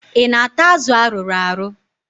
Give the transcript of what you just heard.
I na-ata azụ arụrụ arụ?